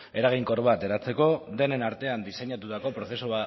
eraginkor bat eratzeko denen artean diseinatutako prozesu